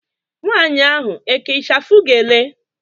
Nwaanyị ahụ eke ichafu gele?